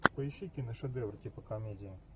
поищи киношедевр типа комедия